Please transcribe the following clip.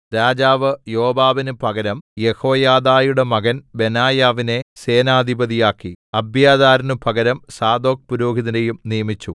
രാജാവ് യോവാബിന് പകരം യെഹോയാദയുടെ മകൻ ബെനായാവിനെ സേനാധിപതിയാക്കി അബ്യാഥാരിന്നു പകരം സാദോക് പുരോഹിതനെയും നിയമിച്ചു